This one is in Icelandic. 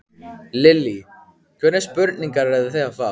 Lillý: Hvernig spurningar eruð þið að fá?